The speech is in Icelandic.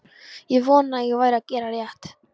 Ég vonaði að ég væri að gera rétt.